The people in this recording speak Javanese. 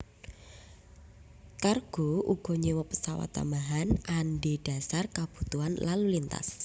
Cargo uga nyewa pesawat tambahan andhedasar kebutuhan lalu lintas